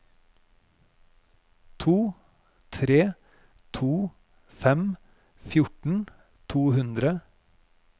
to tre to fem fjorten to hundre